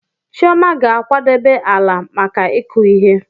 Chioma ga-akwadebe ala maka ịkụ ihe.